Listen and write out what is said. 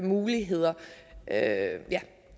muligheder ja